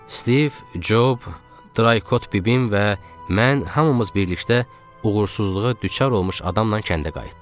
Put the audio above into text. Stiv, Job, Drykot bibim və mən hamımız birlikdə uğursuzluğa düçar olmuş adamla kəndə qayıtdıq.